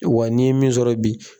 Wa n'i ye min sɔrɔ bi.